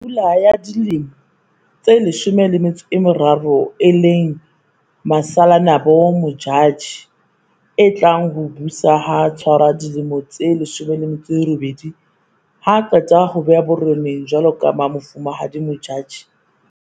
Pula ya dilemo tse 13 e leng Masalanabo Modjadji a tlang ho o busa ha tshwara dilemo tse 18, ha a qeta ho bewa bo reneng jwaloka Mofumahadi Modjadji VII.